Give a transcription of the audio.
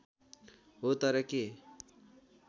हो तर के